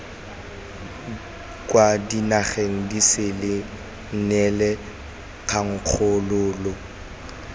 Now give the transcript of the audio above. kwa dinageng disele neela kgakololo